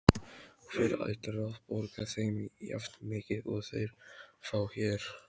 Hver ætlar að borga þeim jafnmikið og þeir fá hér?